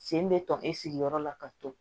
Sen bɛ tɔɔnin sigiyɔrɔ la ka to